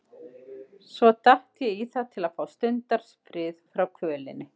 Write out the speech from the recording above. Svo datt ég í það til að fá stundarfrið frá kvölinni.